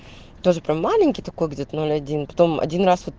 тоже прям маленький такой где-то ноль один потом один раз вот